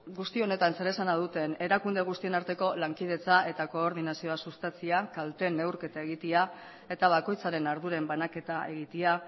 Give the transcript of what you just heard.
guzti honetan zer esana duten erakunde guztien arteko lankidetza eta koordinazioa sustatzea kalteen neurketa egitea eta bakoitzaren arduren banaketa egitea